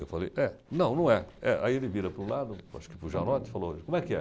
Eu falei, é. Não, não é. É. Aí ele vira para o lado, acho que para o Janot e falou, como é que é?